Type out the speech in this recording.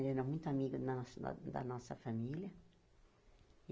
Ele era muito amigo da nossa fa da nossa família.